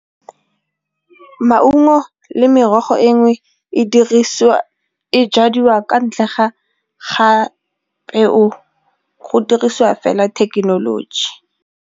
Maungo le merogo e nngwe e jadiwa kwa ntle ga gape go dirisiwa fela thekenoloji.